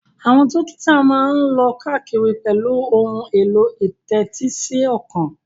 Àwọn dókítà máa ń lọ káàkiri pẹ̀lú ohun èlò ìtẹ́tísíọkàn